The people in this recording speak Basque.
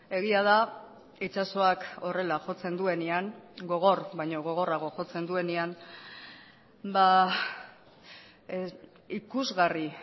egia da itsasoak horrela jotzen duenean gogor baino gogorrago jotzen duenean ikusgarri